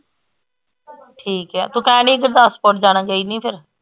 ਠੀਕ ਏ ਤੂੰ ਕਹਿਣ ਡਈ ਹੀ ਗੁਰਦਾਸਪੁਰ ਜਾਣਾ ਗਈ ਨੀ ਫੇਰ